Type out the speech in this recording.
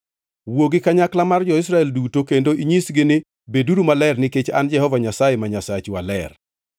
“Wuo gi kanyakla mar Israel duto kendo inyisgi ni: ‘Beduru maler nikech an Jehova Nyasaye ma Nyasachu aler.